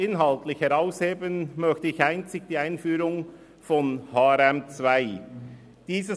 Inhaltlich hervorheben möchte ich einzig die Einführung des Harmonisierten Rechnungslegungsmodells (HRM2).